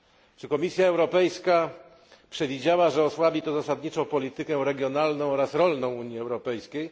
Czy Komisja Europejska przewidziała, że osłabi to zasadniczo politykę regionalną oraz rolną Unii Europejskiej?